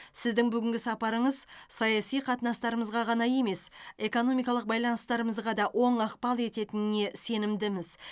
сіздің бүгінгі сапарыңыз саяси қатынастарымызға ғана емес экономикалық байланыстарымызға да оң ықпал ететініне сенімдіміз